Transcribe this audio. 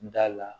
N da la